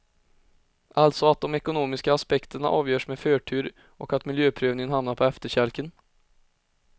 Alltså att de ekonomiska aspekterna avgörs med förtur och att miljöprövningen hamnar på efterkälken.